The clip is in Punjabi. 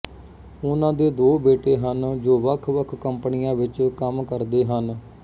ਉਨ੍ਹਾਂ ਦੇ ਦੋ ਬੇਟੇ ਹਨ ਜੋ ਵੱਖਵੱਖ ਕੰਪਨੀਆਂ ਵਿੱਚ ਕੰਮ ਕਰਦੇ ਹਨ